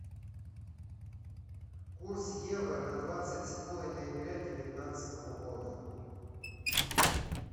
курс евро на двадцать седьмое ноября девятнадцатого года